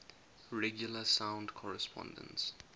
regular sound correspondences